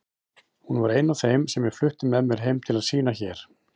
Hún var ein af þeim sem ég flutti með mér heim til að sýna hér.